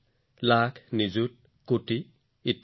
লক্ষং চ নিযুতং চৈব কোটিঃ অৰ্বুদম এব চ